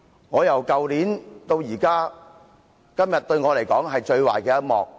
從去年至今，對我來說，今天是最壞的一幕。